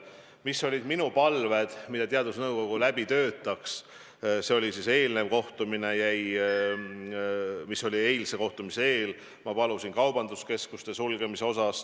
Mina palusin eelmisel kohtumisel teadusnõukogul läbi töötada mõtte, kas peaks sulgema kaubanduskeskused.